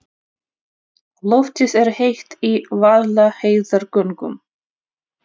Loftið er heitt í Vaðlaheiðargöngum.